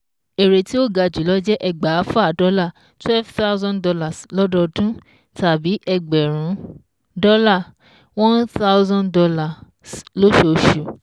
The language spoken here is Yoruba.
Èrè tí ó ga jùlọ jẹ́ ẹgbàáfà dọ́là twelve thousand dollars lọ́dọọdún, tàbí ẹgbẹ̀rún dọ́là one thousand dollars lóṣooṣù